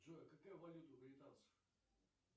джой какая валюта у британцев